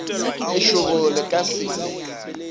lešoboro le ka se ye